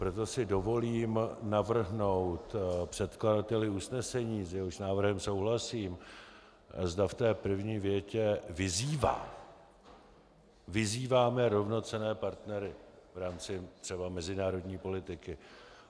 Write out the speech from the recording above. Proto si dovolím navrhnout předkladateli usnesení, s jehož návrhem souhlasím, zda v té první větě - vyzývá, vyzýváme rovnocenné partnery v rámci třeba mezinárodní politiky.